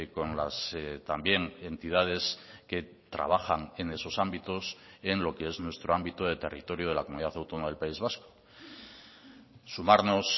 con las también entidades que trabajan en esos ámbitos en lo que es nuestro ámbito de territorio de la comunidad autónoma del país vasco sumarnos